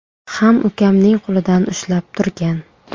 ham ukamning qo‘lidan ushlab turgan.